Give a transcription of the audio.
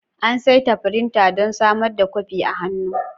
An saita firinta don samar da kwafi a hannu.